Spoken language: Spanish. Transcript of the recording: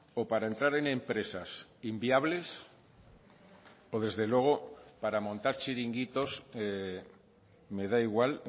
o para entrar en empresas inviables o desde luego para montar chiringuitos me da igual